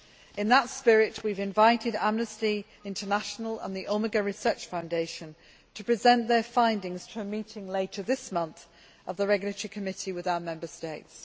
In that spirit, we have invited Amnesty International and the Omega Research Foundation to present their findings to a meeting later this month of the Regulatory Committee with our Member States.